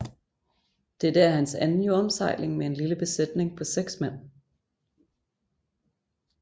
Dette er hans anden jordomsejling med en lille besætning på seks mand